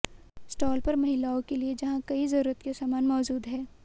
stall पर महिलाओं के लिए जहां कई जरूरत के सामान मौजूद हैं